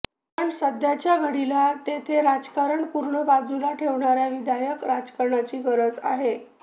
पण सध्याच्या घडीला तेथे राजकारण पूर्ण बाजूला ठेवणाऱ्या विधायक राजकारण्यांची गरज आहे